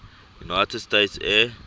united states air